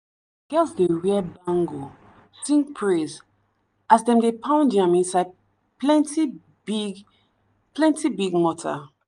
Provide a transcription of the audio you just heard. girls dey wear bangle sing praise as them dey pound yam inside plenty big plenty big mortar.